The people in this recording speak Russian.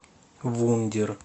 вундер